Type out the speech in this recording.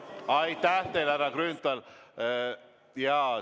Aitäh teile, härra Grünthal!